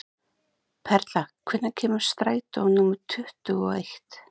Perla, hvenær kemur strætó númer tuttugu og eitt?